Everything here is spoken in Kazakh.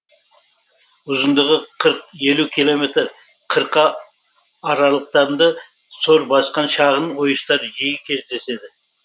ұзындығы қырық елу километр қырқа аралықтарында сор басқан шағын ойыстар жиі кездеседі